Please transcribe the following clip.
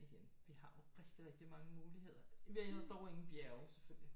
Igen vi har jo rigtig rigtig mange muligheder i vi har dog igen bjerge selvfølgelig